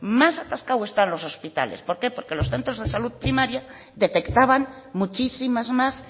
más atascados están los hospitales por qué porque los centros de salud primaria detectaban muchísimas más